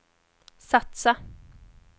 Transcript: satsa